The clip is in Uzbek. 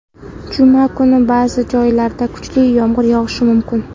Juma kuni ba’zi joylarda kuchli yomg‘ir yog‘ishi mumkin.